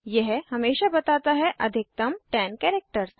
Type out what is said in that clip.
यह हमेशा बताता है अधिकतम 10 कैरेक्टर